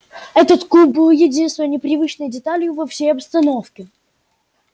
этот куб был единственной непривычной деталью во всей обстановке